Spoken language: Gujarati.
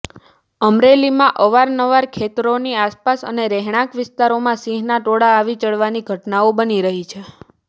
અમરેલીમાં અવારનવાર ખેતરોની આસપાસ અને રહેણાંક વિસ્તારમાં સિંહોના ટોળા આવી ચઢવાની ઘટનાઓ બની રહી છે